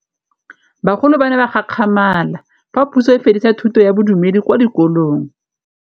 Bagolo ba ne ba gakgamala fa Pusô e fedisa thutô ya Bodumedi kwa dikolong.